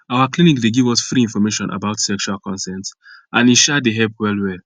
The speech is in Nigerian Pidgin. our clinic dey give us free information about sexual consent and e um dey help well well